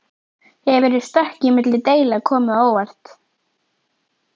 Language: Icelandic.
Hefur stökkið milli deilda komið á óvart?